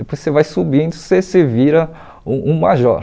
Depois você vai subindo, você se vira um major.